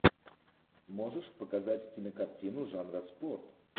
можешь показать кинокартину жанра спорт